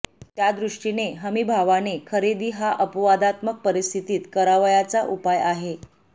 त्या दृष्टीने हमीभावाने खरेदी हा अपवादात्मक परिस्थितीत करावयाचा उपाय आहे